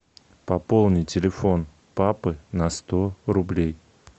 пополни телефон папы на сто рублей